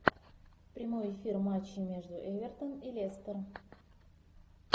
прямой эфир матча между эвертон и лестер